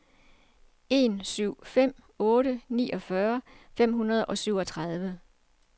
en syv fem otte niogfyrre fem hundrede og syvogtredive